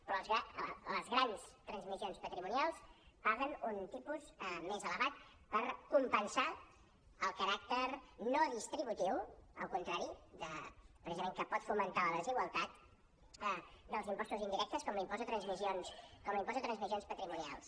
però les grans transmissions patrimonials paguen un tipus més elevat per compensar el caràcter no distributiu al contrari precisament que pot fomentar la desigualtat dels impostos indirectes com l’impost de transmissions patrimonials